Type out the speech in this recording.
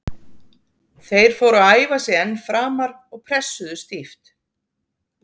Þeir fóru að færa sig enn framar og pressuðu stíft.